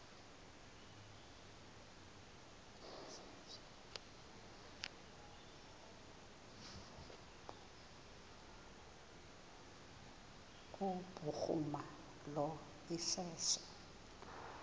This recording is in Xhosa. kubhuruma lo iseso